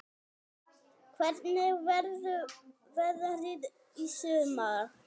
Hvernig verður veðrið í sumar?